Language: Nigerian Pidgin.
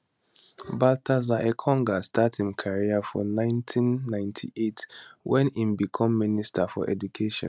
baltasar engonga start im career for 1998 wen im become minister for education